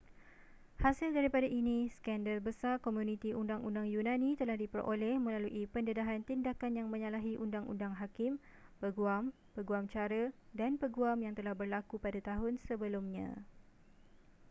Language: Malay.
hasil daripada ini skandal besar komuniti undang-undang yunani telah diperoleh melalui pendedahan tindakan yang menyalahi undang-undang hakim peguam peguam cara dan peguam yang telah berlaku pada tahun sebelumnya